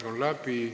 Aeg on läbi.